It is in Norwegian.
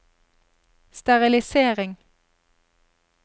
sterilisering